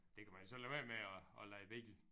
Det kan man jo så lade være med at at leje bil